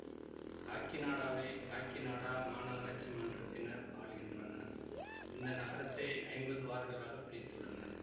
காக்கிநாடாவை காக்கிநாடா மாநகராட்சி மன்றத்தினர் ஆள்கின்றனர் இந்த நகரத்தை ஐம்பது வார்டுகளாகப் பிரித்துள்ளனர்